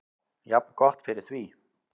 Jafngott fyrir því.